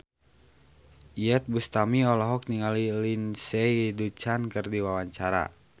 Iyeth Bustami olohok ningali Lindsay Ducan keur diwawancara